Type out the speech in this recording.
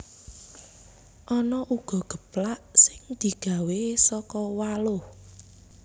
Ana uga geplak sing digawé saka waluh